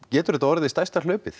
getur þetta orðið stærsta hlaupið